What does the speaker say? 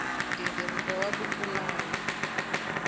nghingiriko wa ku pulana na